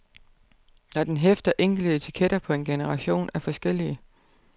Når den hæfter enkle etiketter på en generation af forskellige.